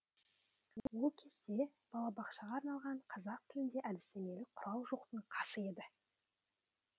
ол кезде балабақшаға арналған қазақ тілінде әдістемелік құрал жоқтың қасы еді